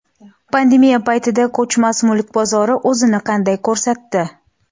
Pandemiya paytida ko‘chmas mulk bozori o‘zini qanday ko‘rsat di?